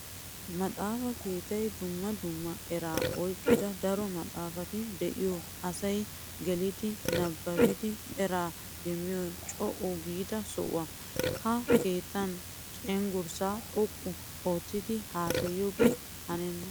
Maxafa keettay dumma dumma eraa oyqqidda daro maxafatti de'iyo asay geliddi nabaabiddi eraa demmiyo co'u giida soho. Ha keettan cenggurssa xoqqu oottiddi haasayigoge hanenna.